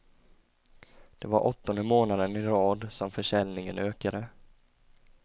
Det var åttonde månaden i rad som försäljningen ökade.